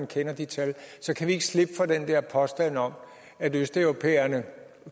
kender de tal så kan vi ikke slippe for den der påstand om at østeuropæerne